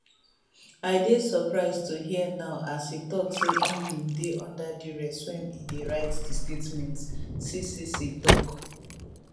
i dey surprise to hear now as e tok say im bin dey under duress wen e dey write di statement ccc tok